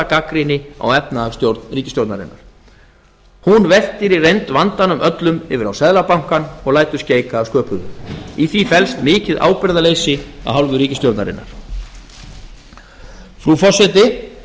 gagnrýni á efnahagsstjórn ríkisstjórnarinnar hún veltir í reynd vandanum öllum yfir á seðlabankann og lætur skeika að sköpuðu í því felst mikið ábyrgðarleysi af hálfu ríkisstjórnarinnar frú forseti